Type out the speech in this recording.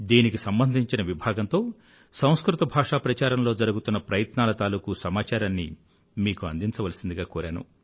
దీనికి సంబంధించిన విభాగంతో సంస్కృత భాష ప్రచారంలో జరుగుతున్న ప్రయత్నాల తాలూకూ సమాచారాన్ని మీకు అందించవలసిందిగా కోరాను